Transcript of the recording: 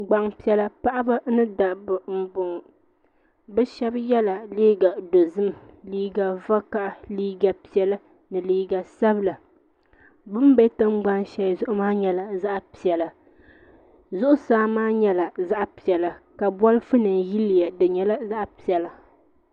Gbaŋ piɛlla paɣaba ni dabba n bɔŋɔ bi shɛba ye la liiga dozim liiga vakaha liiga piɛlla ni liiga sabila bini bɛ tiŋgbani shɛli zuɣu maa yɛla zaɣi piɛlla zuɣusaa maa yɛla zaɣi piɛlla ka bolifu nima yiliya di nyɛla zaɣi piɛlla.